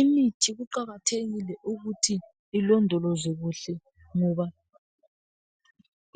Imithi kuqakathekile ukuthi ilondolozwe kuhle. Ngoba